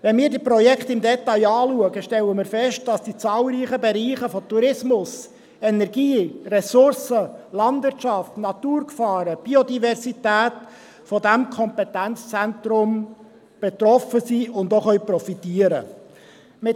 Wenn wir uns dieses Projekt im Detail anschauen, stellen wir fest, dass zahlreiche Bereiche – Tourismus, Energie, Ressourcen, Landwirtschaft, Naturgefahren und Biodiversität – von diesem Kompetenzzentrum betroffen sind und profitieren können.